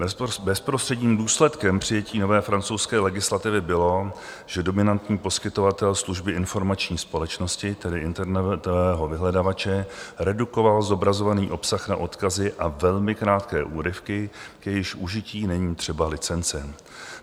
Bezprostředním důsledkem přijetí nové francouzské legislativy bylo, že dominantní poskytovatel služby informační společnosti, tedy internetového vyhledávače, redukoval zobrazovaný obsah na odkazy a velmi krátké úryvky, k jejichž užití není třeba licence.